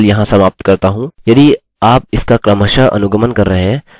ठीक है इसके बारे में इतना ही है मैं ट्यूटोरियल यहाँ समाप्त करता हूँ